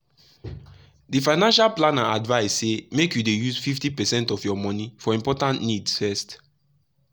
the financial planner advise say make you dey use 50 percent of your money for important needs first.